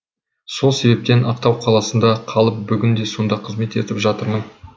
сол себептен ақтау қаласында қалып бүгінде сонда қызмет етіп жатырмын